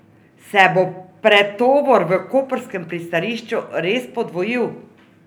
Se bo pretovor v koprskem pristanišču res podvojil?